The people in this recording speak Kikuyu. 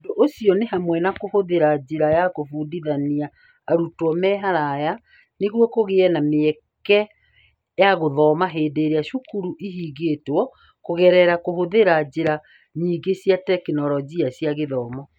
Ũndũ ũcio nĩ hamwe na kũhũthĩra njĩra ya kũbundithania arutwo me haraya nĩguo kũgĩe na mweke wa gũthoma hĩndĩ ĩrĩa cukuru ihingĩtwo kũgerera kũhũthĩra njĩra nyingĩ cia tekinoronjĩ cia gĩthomo.